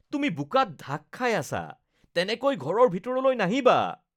তুমি বোকাত ঢাক খাই আছা। তেনেকৈ ঘৰৰ ভিতৰলৈ নাহিবা।